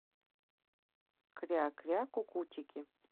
кря кря кукутики